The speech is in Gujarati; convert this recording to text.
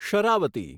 શરાવતી